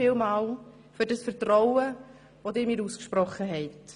Vielen Dank für das Vertrauen, dass Sie mir ausgesprochen haben.